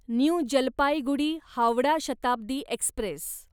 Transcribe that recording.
new Jalpaiguri Howrah Shatabdi Express